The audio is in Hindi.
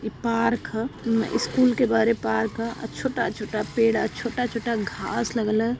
ई पार्क ह। म स्कूल के बाहरे पार्क ह। आ छोटा-छोटा पेड़ ह। आ छोटा-छोटा घांस लगल ह।